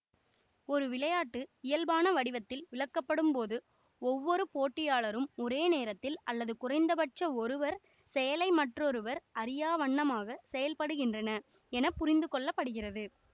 ஒரு விளையாட்டு இயல்பான வடிவத்தில் விளக்கப்படும் போது ஒவ்வொரு போட்டியாளரும் ஒரே நேரத்தில் அல்லது குறைந்தபட்சம் ஒருவர் செயலை மற்றொருவர் அறியாவண்ணமாக செயல்படுகின்றனர் என புரிந்துகொள்ளப்படுகிறது